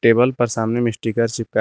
table पर सामने में स्टीकर चिपकाए--